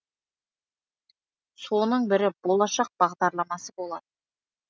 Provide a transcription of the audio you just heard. соның бірі болашақ бағдарламасы болатын